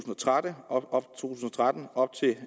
og tretten op til